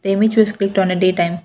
they picked on a day time.